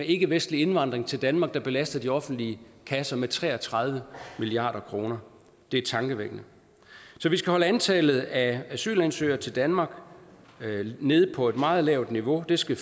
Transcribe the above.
ikkevestlig indvandring til danmark der belaster de offentlige kasser med tre og tredive milliard kroner det er tankevækkende så vi skal holde antallet af asylansøgere til danmark nede på et meget lavt niveau det skal